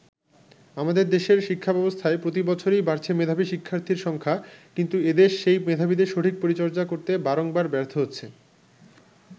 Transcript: আমাদের দেশের শিক্ষাব্যবস্থায় প্রতি বছরেই বাড়ছে মেধাবী শিক্ষার্থীর সংখ্যা কিন্তু এদেশ সেই মেধাবীদের সঠিক পরিচর্যা করতে বারংবার ব্যর্থ হচ্ছে।